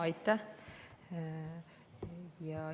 Aitäh!